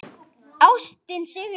Ástin sigrar